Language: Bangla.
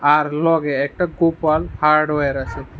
আর লগে একটা কুপন হার্ডওয়ার আসে।